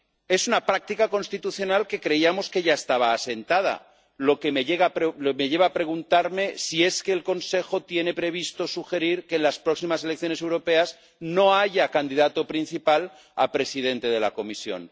Es una práctica constitucional que creíamos que ya estaba asentada, lo que me lleva a preguntarme si es que el Consejo tiene previsto sugerir que en las próximas elecciones europeas no haya candidato principal a presidente de la Comisión.